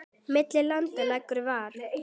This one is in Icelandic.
Milli landa liggur ver.